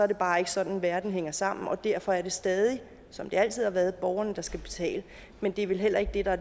det bare ikke sådan verden hænger sammen og derfor er det stadig som det altid har været borgerne der skal betale men det er vel heller ikke det der